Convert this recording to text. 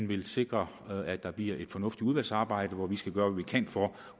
vil sikre at der bliver et fornuftigt udvalgsarbejde hvor vi skal gøre hvad vi kan for